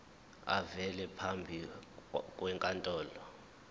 avele phambi kwenkantolo